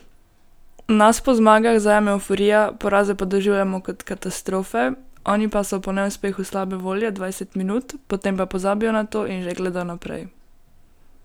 Nas po zmagah zajame evforija, poraze pa doživljamo kot katastrofe, oni pa so po neuspehu slabe volje dvajset minut, potem pa pozabijo na to in že gledajo naprej.